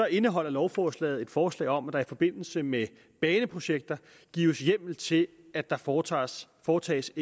indeholder lovforslaget et forslag om at der i forbindelse med baneprojekter gives hjemmel til at der foretages foretages